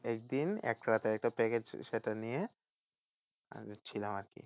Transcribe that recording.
একদিন একটা রাতের একটা package সেটা নিয়ে আমি ছিলাম আরকি